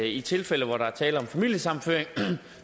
i tilfælde hvor der er tale om familiesammenføring